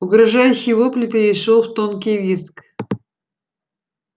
угрожающий вопль перешёл в тонкий визг